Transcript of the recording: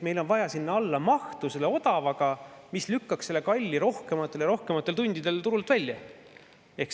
Meil on vaja sinna alla odavat mahtu, mis lükkaks kalli rohkematel ja rohkematel tundidel turult välja.